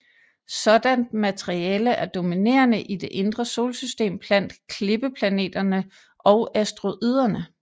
Sådant materiale er dominerende i det indre solsystem blandt klippeplaneterne og asteroiderne